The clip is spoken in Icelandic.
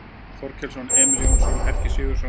Þorkelsson, Emil Jónsson, Helgi Sigurðsson